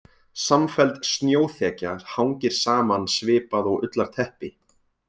Samfelld snjóþekja hangir saman svipað og ullarteppi.